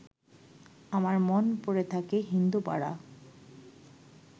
আমার মন পড়ে থাকে হিন্দুপাড়া